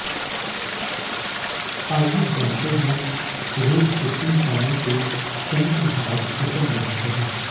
आइए जानते हैं रोज के किन कामों से शनि महाराज प्रसन्न रहते हैं